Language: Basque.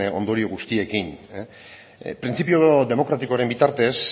ondorio guztiekin printzipio demokratikoaren bitartez